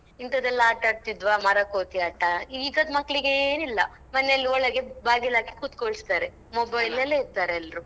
ಇಂಥದೆಲ್ಲಾ ಆಟ ಆಡ್ತಿದ್ವಾ ಮರಕೋತಿ ಆಟ ಈಗದ್ ಮಕ್ಳಿಗೆ ಏನ್ ಇಲ್ಲ ಮನೆಯಲ್ಲಿ ಒಳಗೆ ಬಾಗಿಲ್ ಹಾಕಿ ಕುತ್ಕೋಳಿಸ್ತಾರೆ mobile ಅಲ್ಲೇ ಇರ್ತಾರೆ ಎಲ್ರು.